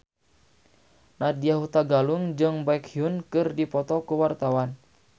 Nadya Hutagalung jeung Baekhyun keur dipoto ku wartawan